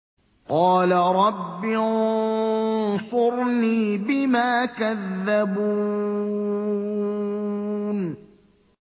قَالَ رَبِّ انصُرْنِي بِمَا كَذَّبُونِ